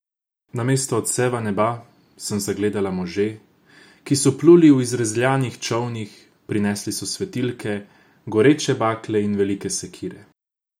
Namesto odseva neba sem zagledala može, ki so pluli v izrezljanih čolnih, prinesli so svetilke, goreče bakle in velike sekire.